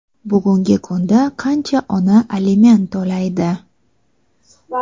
Bugungi kunda qancha ona aliment to‘laydi?.